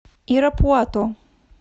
ирапуато